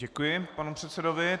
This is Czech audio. Děkuji panu předsedovi.